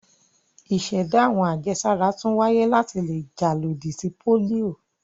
Ìṣẹ̀dá àwọn àjẹsára tún wáyé láti le jà lòdì sí pólíò.